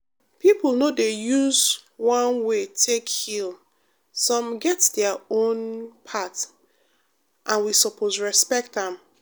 people no dey use one way take heal—some get their own path and we suppose respect am.